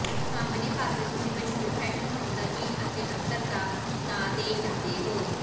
ਸਾਹਮਣੇ ਪਾਸੇ ਤੁਸੀਂ ਮਸ਼ਹੂਰ ਫੈਸ਼ਨ ਹਾਊਸ ਦਾ ਚਿੰਨ੍ਹ ਅਤੇ ਅਤਰ ਦਾ ਨਾਂ ਦੇਖ ਸਕਦੇ ਹੋ